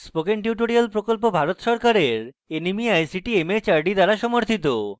spoken tutorial প্রকল্প ভারত সরকারের nmeict mhrd দ্বারা সমর্থিত